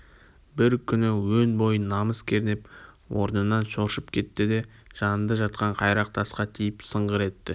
бір күні өн бойын намыс кернеп орнынан шоршып кетті де жанында жатқан қайрақ тасқа тиіп сыңғыр етті